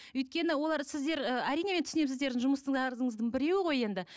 өйткені олар сіздер ы әрине мен түсінемін сіздердің жұмыстарыңыздың біреуі ғой енді